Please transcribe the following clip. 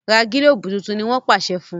ra gilobu títún! ní wón pàṣẹ fún.